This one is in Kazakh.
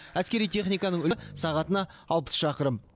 әскери техниканың сағатына алпыс шақырым